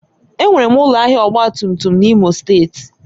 Enwere m ụlọ ahịa ọgba tum tum n'Imo steeti